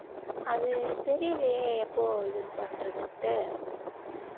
அது தெரியலயே எப்போ இது பண்றதுன்ட்டு